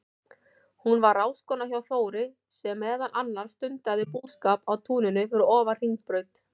Hún var ráðskona hjá Þóri, sem meðal annars stundaði búskap á túninu fyrir ofan Hringbraut.